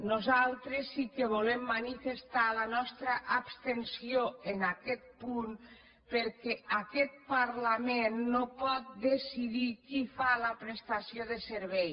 nosaltres sí que volem manifestar la nostra abstenció en aquest punt perquè aquest parlament no pot decidir qui fa la prestació de servei